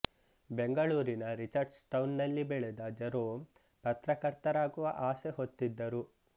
ಬೆಂಗಳೂರಿನ Richards Town ನಲ್ಲಿ ಬೆಳೆದ ಜರೋಂ ಪತ್ರಕರ್ತರಾಗುವ ಆಸೆ ಹೊತ್ತಿದ್ದರು